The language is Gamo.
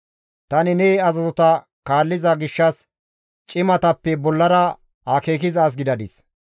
Tani ne azazota kaalliza gishshas cimatappe bollara akeekiza as gidadis.